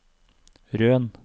Røn